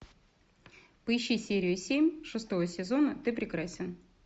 поищи серию семь шестого сезона ты прекрасен